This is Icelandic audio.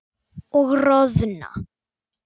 Og roðna.